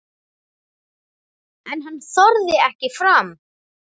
En hann þorði ekki fram.